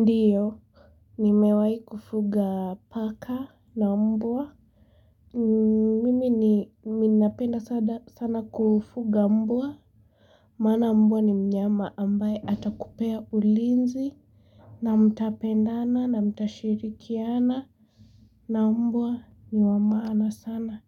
Ndiyo. Ni mewai kufuga paka na mbua. Mimi ni minapenda sana kufuga mbua. Mana mbua ni mnyama ambaye hata kupea ulinzi. Na mtapendana na mtashirikiana. Na mbua ni wamaana sana